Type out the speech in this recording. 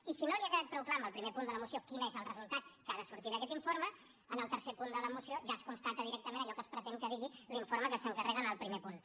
i si no li ha quedat prou clar amb el primer punt de la moció quin és el resultat que ha de sortir d’aquest informe en el tercer punt de la moció ja es constata directament allò que es pretén que digui l’informe que s’encarrega en el primer punt